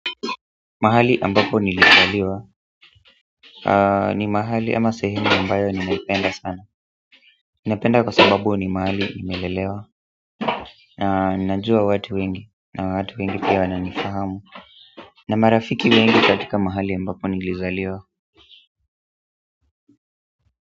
Mahali ambapo nilizaliwa ni mahali ama sehemu ambayo ninaipenda sana ninapenda sababu ni mahali nimelelewa na njua watu wengi na watu wengi pia wananifahamu na marafiki wengi katika mahali ambapo nilizaliwa.